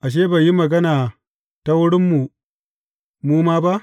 Ashe, bai yi magana ta wurinmu mu ma ba?